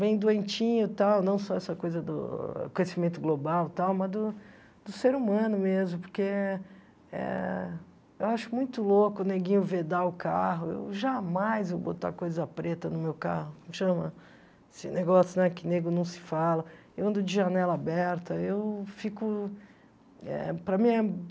bem doentinho e tal, não só essa coisa do conhecimento global e tal, mas do do ser humano mesmo, porque eh eh eu acho muito louco o neguinho vedar o carro, eu jamais vou botar coisa preta no meu carro, como chama esse negócio, né, que nego não se fala, eu ando de janela aberta, eu fico, para mim é